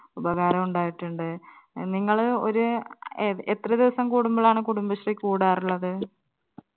ഉപകാരം ഉണ്ടായിട്ടുണ്ട്. നിങ്ങള് ഒരു എ എത്ര ദിവസം കൂടുമ്പോഴാണ് കുടുംബശ്രീ കൂടാറുള്ളത്.